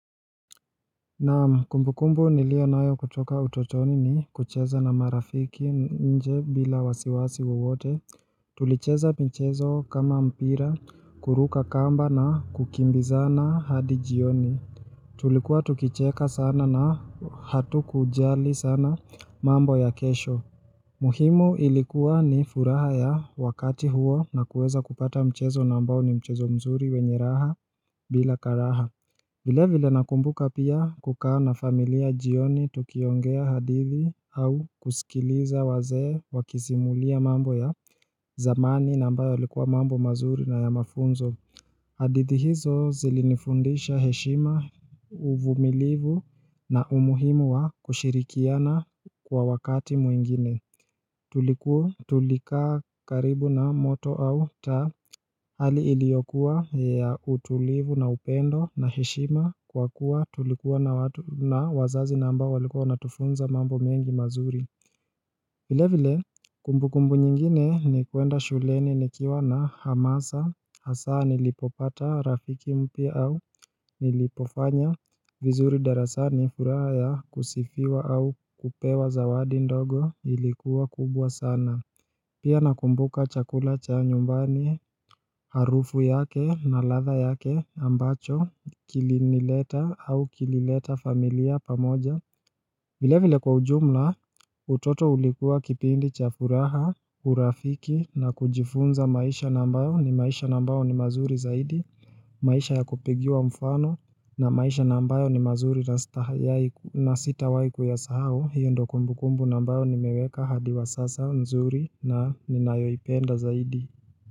Naam kumbukumbu nilio nayo kutoka utotoni ni kucheza na marafiki nje bila wasiwasi wowote, tulicheza mchezo kama mpira kuruka kamba na kukimbiza na hadijioni Tulikuwa tukicheka sana na hatu kujali sana mambo ya kesho muhimu ilikuwa ni furaha ya wakati huo na kuweza kupata mchezo nambao ni mchezo mzuri wenye raha bila karaha vile vile nakumbuka pia kukaa na familia jioni tukiongea hadithi au kusikiliza wazee wakizimulia mambo ya zamani na ambayo ya likuwa mambo mazuri na ya mafunzo hadithi hizo zilinifundisha heshima uvumilivu na umuhimu wa kushirikiana kwa wakati muingine Tulikua tulikaa karibu na moto au taa hali iliyokuwa ya utulivu na upendo na heshima kwa kuwa tulikuwa na wazazi na ambao walikua wanatufunza mambo mengi mazuri vile vile kumbukumbu nyingine ni kuenda shuleni nikiwa na hamasa hasa nilipopata rafiki mpya au nilipofanya vizuri darasani furaha kusifiwa au kupewa zawadi ndogo ilikuwa kubwa sana Pia nakumbuka chakula cha nyumbani harufu yake na latha yake ambacho kilinileta au kilileta familia pamoja vile vile kwa ujumla utoto ulikuwa kipindi chafuraha urafiki na kujifunza maisha na ambayo ni maisha na ambayo ni mazuri zaidi maisha ya kupigiwa mfano na maisha na ambayo ni mazuri na sita waiku ya sahau hiyo ndo kumbu kumbu na ambayo ni meweka hadi wa sasa nzuri na ninayoipenda zaidi.